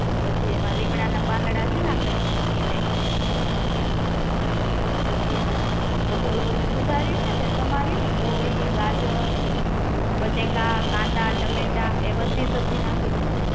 પછી એમા લીમડા ના પાંદડા છે ને એ નાખ પછી, પછી ઓલુ બધુ સુધાર્યું ને સમાર્યું તે કોબી, ગાજર, બટેકા, કાંદા, ટમેટા, એ બધી સબજી નાખી દે